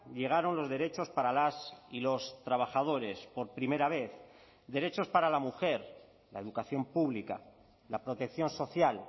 llegaron los derechos para las y los trabajadores por primera vez derechos para la mujer la educación pública la protección social